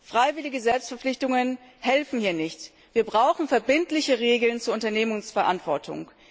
Freiwillige Selbstverpflichtungen helfen hier nicht. Wir brauchen verbindliche Regeln zur Unternehmensverantwortung.